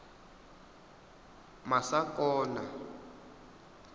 masakona